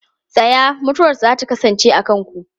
Tsaya! Mutuwarsa za ta kasance a kanku.